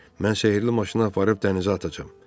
Mən sehrli maşını aparıb dənizə atacağam.